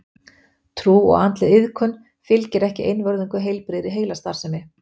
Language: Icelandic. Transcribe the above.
Trú og andleg iðkun fylgir ekki einvörðungu heilbrigðri heilastarfsemi.